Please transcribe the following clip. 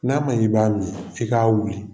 N'a ma ɲɛ i b'a min i k'a wuli